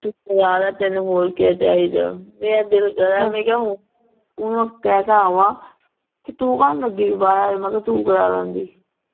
ਤੈਨੂ ਹੋਰ ਕੀ ਚਾਹੀਦਾ ਮੇਰਾ ਦਿਲ ਕਰਾ ਮੈਂ ਕਿਹਾ ਓਹਨੂੰ ਕਹਿ ਕ ਆਵਾਂ ਕਿ ਤੂੰ ਕਾਨੂੰ ਲੱਗੀ ਮ ਕਿਹਾ ਤੂੰ ਕਰਾ ਲੈਂਦੀ